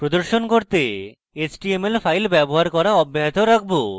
প্রদর্শন করতে html files ব্যবহার করা অব্যাহত রাখবো